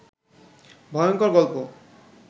ভয়ংকর গল্প